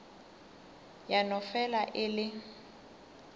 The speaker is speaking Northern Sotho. ya no fela e le